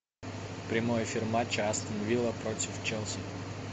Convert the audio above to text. прямой эфир матча астон вилла против челси